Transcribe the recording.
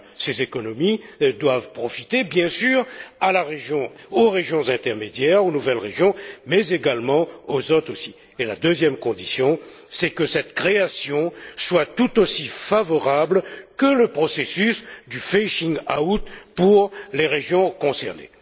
1. Ces économies doivent profiter, bien sûr, aux régions intermédiaires, aux nouvelles régions, mais également aux autres. Et la deuxième condition, c'est que cette création soit tout aussi favorable que le processus du phasing out pour les régions concernées.